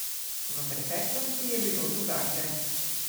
V preteklosti je bilo drugače.